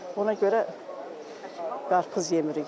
Ona görə qarpız yemirik indi.